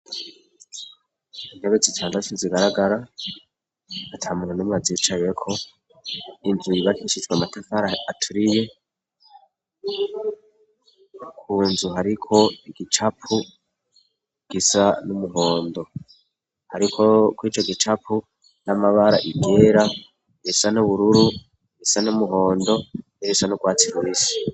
Intebe zitandatu zigaragara ata muntu numwe azicayeko inzuribar ishitswe amatapara aturiye kunzu hariko igicapu gisa n'umuhondo hariko ko ico gicapu n'amabara ibyera irisa n'ubururu isa n'umuhondo n'irisa n'u bwatsir bisi